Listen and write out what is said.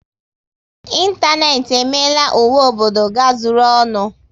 Ịntanetị emeela ụwa obodo gazuru ọnụ